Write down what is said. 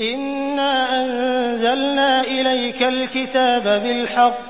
إِنَّا أَنزَلْنَا إِلَيْكَ الْكِتَابَ بِالْحَقِّ